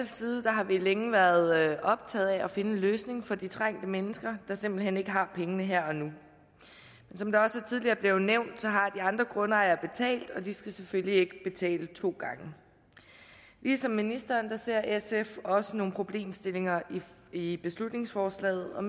side har vi længe været optaget af at finde en løsning for de trængte mennesker der simpelt hen ikke har pengene her og nu som det også tidligere er blevet nævnt har de andre grundejere betalt og de skal selvfølgelig ikke betale to gange ligesom ministeren ser sf også nogle problemstillinger i beslutningsforslaget og